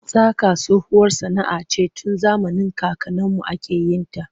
Saƙa tsohuwar sana'a ce tun zamanin kakanninmu ake yin ta.